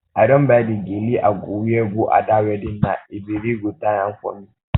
i don buy the gele i go wear go ada wedding na ebere go tie am for me um